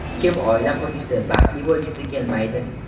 Kim oila qurgisi, baxtli bo‘lgisi kelmaydi?